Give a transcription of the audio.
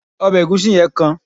obe egusi yen kan